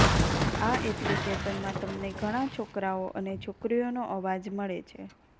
આ એપ્લિકેશનમાં તમને ઘણા છોકરાઓ અને છોકરીઓનો અવાજ મળે છે